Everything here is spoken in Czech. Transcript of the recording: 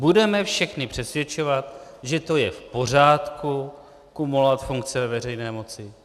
Budeme všechny přesvědčovat, že to je v pořádku kumulovat funkce ve veřejné moci.